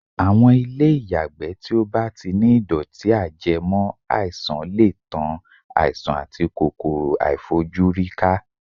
Àwọn ilé ìyàgbẹ́ tí ó bá ti ní ìdọ̀tí-ajẹmọ́-àìsàn lè tan àìsàn àti kòkòrò-àìfojúrí ká.